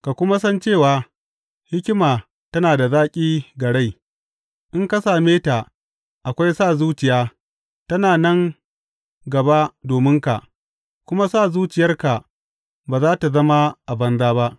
Ka kuma san cewa hikima tana da zaƙi ga rai; in ka same ta, akwai sa zuciya ta nan gaba dominka, kuma sa zuciyarka ba za tă zama a banza ba.